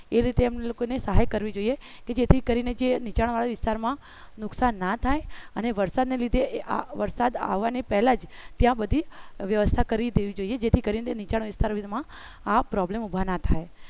એ રીતે એમને લોકો ને સહાય કરવી જોઈએ કે જેથી કરીને જે નિચાંણવાળા વિસ્તારમાં નુકસાન ના થાય અને વરસાદને લીધે આ વરસાદ આવવાની પહેલા જ ત્યાં બધી વ્યવસ્થા કરી દેવી જોઈએ જેથી કરીને નિચાંણ વિસ્તારમાં આ problem ઊભા ના થાય